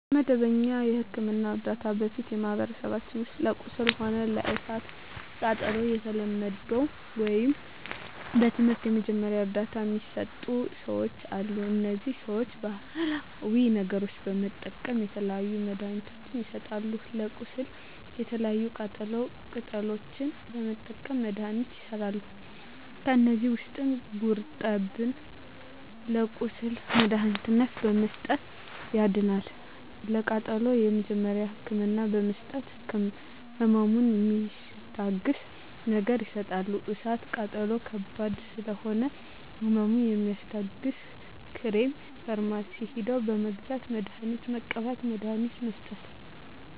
ከመደበኛ የሕክምና ዕርዳታ በፊት በማኀበረሰባችን ውስጥ ለቁስል ሆነ ለእሳት ቃጠሎው በተለምዶው ወይም በትምህርት የመጀመሪያ እርዳታ ሚሰጡ ሰዎች አሉ እነዚህ ሰዎች ባሀላዊ ነገሮች በመጠቀም የተለያዩ መድሀኒትችን ይሰጣሉ ለቁስል የተለያዩ ቅጠላ ቅጠሎችን በመጠቀም መድሀኒቶች ይሠራሉ ከዚህ ውስጥ ጉርጠብን ለቁስል መድሀኒትነት በመስጠት ያድናል ለቃጠሎ የመጀመሪያ ህክምና በመስጠት ህመሙን ሚስታግስ ነገር ይሰጣሉ እሳት ቃጠሎ ከባድ ስለሆነ ህመሙ የሚያስታግስ ክሬም ፈርማሲ ሄደው በመግዛት መድሀኒት መቀባት መድሀኒት መስጠት